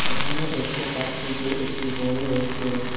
এখানে দেখতে পাচ্ছি যে একটি বড়ো রেস্টুরেন্ট ।